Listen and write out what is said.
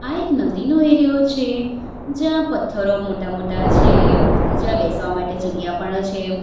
આ એક નદીનો એરીયો છે જ્યાં પથ્થરો મોટા-મોટા છે જ્યાં બેસવા માટે જગ્યા પણ છે.